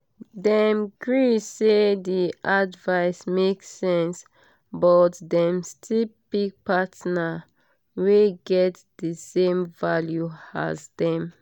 dem gree say d advice make sense but dem still pick partner wey get d same values as dem